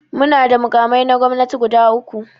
Muna da makamai na gwamnati guda uku.